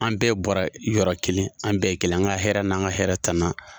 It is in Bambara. An bɛɛ bɔra yɔrɔ kelen, an bɛɛ ye kelen ye .An ka hɛrɛ n'an ka hɛrɛ tana.